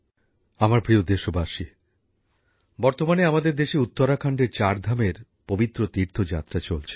আমার প্রিয় দেশবাসী বর্তমানে আমাদের দেশে উত্তরাখণ্ডের চার ধামের পবিত্র তীর্থযাত্রা চলছে